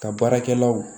Ka baarakɛlaw